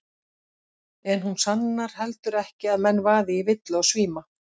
En hún sannar heldur ekki að menn vaði í villu og svíma.